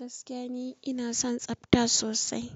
Gaskiya ni ina son tsafta sosai.